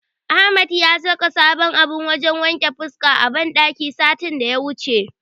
Ahmad ya saka sabon abun wajen wanke fuska a banɗakin sa satin daya wuce.